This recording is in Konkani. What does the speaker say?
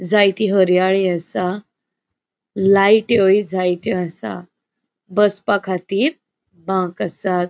जायति हर्याळि असा लायटयोय जायत्यो आसात. बसपाखातीर बांक आसात.